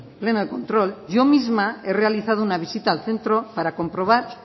pleno de control yo misma he realizado una visita al centro para comprobar